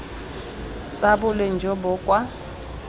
tsa boleng jo bo kwa